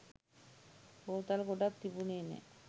බෝතල් ගොඩාක් තිබුණේ නෑ.